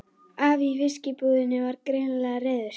Afi í fiskbúðinni var greinilega reiður.